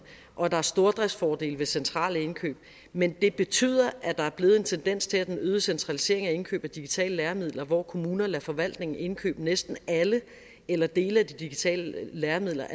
og at der er stordriftsfordele ved centrale indkøb men det betyder at der er blevet en tendens til en øget centralisering af indkøb af digitale læremidler hvor kommuner lader forvaltningen indkøbe næsten alle eller dele af de digitale læremidler